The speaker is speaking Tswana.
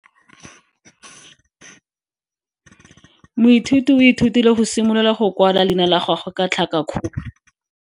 Moithuti o ithutile go simolola go kwala leina la gagwe ka tlhakakgolo.